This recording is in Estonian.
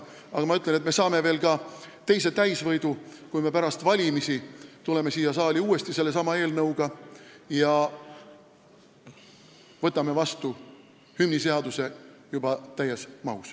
Aga ma ütlen, et me saame veel täisvõidu, kui me pärast valimisi tuleme uuesti siia saali sellesama eelnõuga ja võtame hümniseaduse juba täies mahus vastu.